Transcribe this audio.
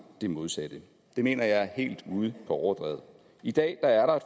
det modsatte det mener jeg er helt ude på overdrevet i dag er der